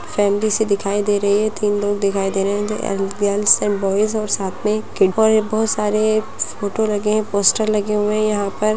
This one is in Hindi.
फैमिली सी दिखाई दे रही है तीन लोग दिखाई दे रहे है गर्ल्स एंड बॉयज और साथ में एक किड और बहोत सारे फोटो लगे है पोस्टर लगे हुए है यहाँ पर।